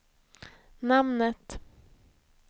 namnet